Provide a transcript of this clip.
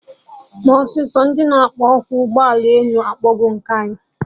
Mee ọsịsọ! Ndị na akpọ oku ụgbọ elu akpọgo nke anyị!